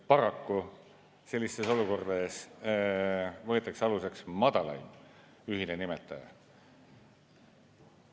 Paraku sellistes olukordades võetakse aluseks madalaim ühine nimetaja.